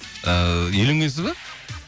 ыыы үйленгенсіз ба